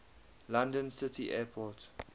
london city airport